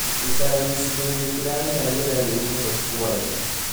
ũikaraga gĩcigo-inĩ kĩrarĩ na rĩera rĩũru mũno ũtukũ wa ira